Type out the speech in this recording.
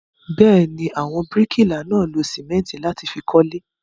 Bẹ́ẹ̀ ni, àwọn bíríkìlà náà lo sìmẹ́ńtì láti fi kọ́lé.